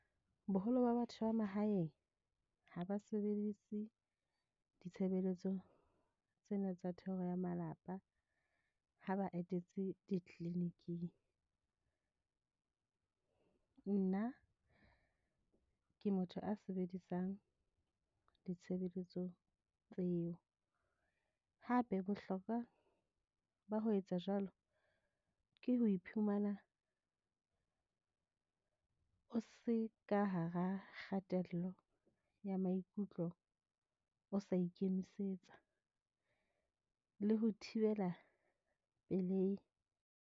Boholo ba batho ba mahaeng ha ba sebedise ditshebeletso tsena tsa thero ya malapa ha ba etetse di-clinic-ing. Nna ke motho a sebedisang ditshebeletso tseo. Hape bohlokwa ba ho etsa jwalo ke ho iphumana o se ka hara kgatello ya maikutlo, o sa ikemisetsa le ho thibela pelehi.